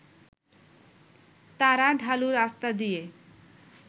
তারা ঢালু রাস্তা দিয়ে